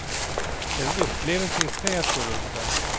Det är en upplevelse i sig att gå runt där.